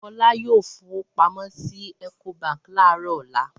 Fọlá yóò fowó pamọ́ sí Ecobank láàárọ̀ ọ̀la.